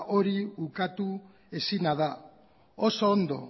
hori ukatu ezina da oso ondo